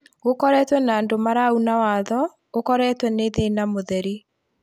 gũkoretwe na andũ marauna watho ũkoretwe nĩ thĩna mũtheri